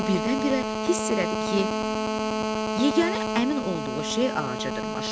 O birdən-birə hiss elədi ki, yeganə əmin olduğu şey ağaca dırmaşmaqdır.